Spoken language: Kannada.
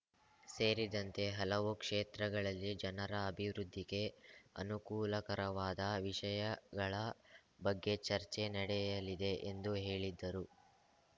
ಸೇರಿದಂತೆ ಹಲವು ಕ್ಷೇತ್ರಗಳಲ್ಲಿ ಜನರ ಅಭಿವೃದ್ಧಿಗೆ ಅನುಕೂಲಕರವಾದ ವಿಷಯಗಳ ಬಗ್ಗೆ ಚರ್ಚೆ ನಡೆಯಲಿದೆ ಎಂದು ಹೇಳಿದ್ದರು